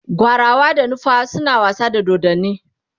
gwarawa da nufawa na wasa da dodanni